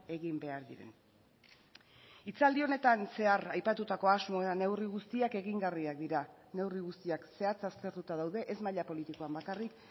egin behar diren hitzaldi honetan zehar aipatutako asmo eta neurri guztiak egingarriak dira neurri guztiak zehatz aztertuta daude ez maila politikoan bakarrik